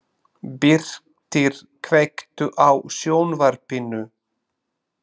Birtir, kveiktu á sjónvarpinu.